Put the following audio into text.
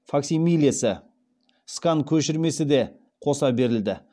факсимилесі де қоса берілді